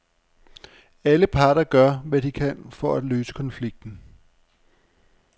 Alle parter gør, hvad de kan for at løse konflikten.